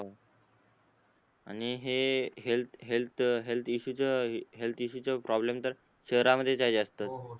आणी हे health health um health इशुच हेअल्थ इशुच प्रॉब्लेम तर शहरा मध्येछ आहे जासत हो हो